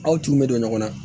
Aw tun bɛ don ɲɔgɔn na